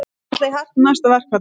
Ætla í hart í næsta verkfalli